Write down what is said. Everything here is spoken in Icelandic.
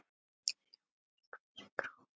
hljóma í hverri kró.